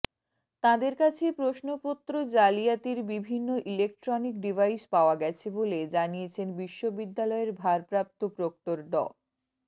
তাঁদের কাছে প্রশ্নপত্র জালিয়াতির বিভিন্ন ইলেকট্রনিক ডিভাইস পাওয়া গেছে বলে জানিয়েছেন বিশ্ববিদ্যালয়ের ভারপ্রাপ্ত প্রক্টর ড